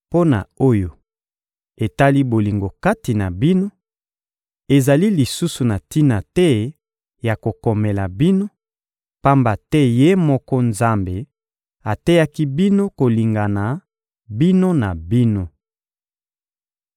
Mpo na oyo etali bolingo kati na bino, ezali lisusu na tina te ya kokomela bino, pamba te Ye moko Nzambe ateyaki bino kolingana bino na bino.